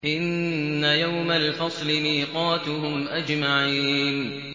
إِنَّ يَوْمَ الْفَصْلِ مِيقَاتُهُمْ أَجْمَعِينَ